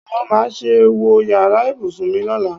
Wòó, má ṣe wọ yàrá ìbùsùn mi lọ́la!